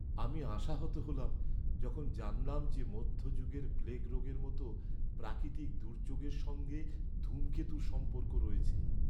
আমি আশাহত হলাম যখন জানলাম যে মধ্যযুগের প্লেগ রোগের মতো প্রাকৃতিক দুর্যোগের সঙ্গে ধূমকেতুর সম্পর্ক রয়েছে।